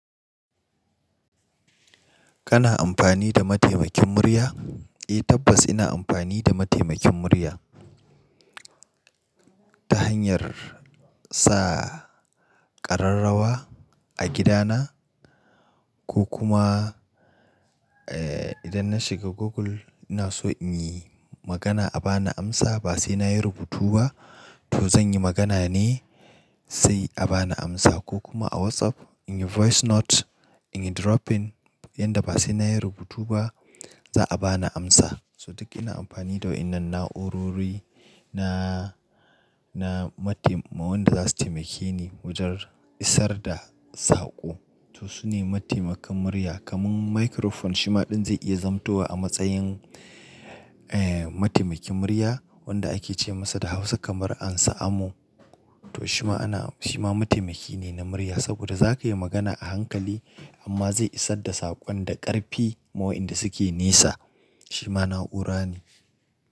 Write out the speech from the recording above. Kana amfani da mataimakin murya? Eh tabbas ina amfani da mataimakin murya ta hanyar sa ƙararrawa a gidana ko kuma eh idan na shiga Google ina so in yi magana a ba ni amsa ba sai na yi rubutu ba to zan yi magana ne sai a ba ni amsa ko kuma a WhatsApp in yi voice note, in yi dropping yanda ba sai na yi rubutu ba za a ba ni amsa. So duk ina amfani da waɗannan na'urori na, na matai-- wanda za su taimake ni wajen isar da saƙo. To su ne mataimakan murya kamar microphone shi ma ɗan zai iya zamantawa a matsayin eh mataimakin murya wanda ake ce masa da Hausa kamar Ansa'amo. To shi ma ana, shi ma mataimaki ne na murya saboda za ka yi magana a hankali amma zai isar da saƙon da ƙarfi ma wa inda suke nesa. Shi ma na'ura ne.